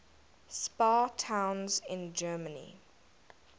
spa towns in germany